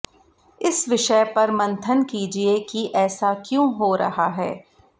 इस विषय पर मंथन कीजिये कि ऐसा क्यों हो रहा है